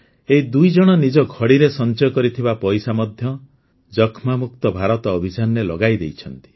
ଏହି ଦୁଇ ଜଣ ନିଜ ଘଡ଼ିରେ ସଂଚୟ କରିଥିବା ପଇସା ମଧ୍ୟ ଯକ୍ଷ୍ମାମୁକ୍ତ ଭାରତ ଅଭିଯାନରେ ଲଗାଇ ଦେଇଛନ୍ତି